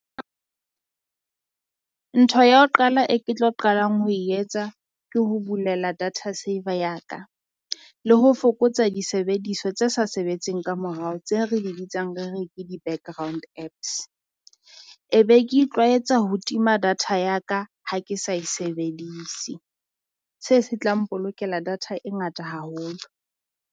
Ntho ya ho qala e ke tlo qalang ho e etsa ke ho bulela data saver ya ka, le ho fokotsa disebediswa tse sa sebetseng kamorao tse re di bitsang re re ke di background Apps. E be ke itlwaetsa ho tima data ya ka ha ke sa e sebedise, se se tlang mpolokela data e ngata haholo.